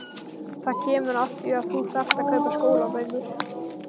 Það kemur að því að þú þarft að kaupa skólabækur.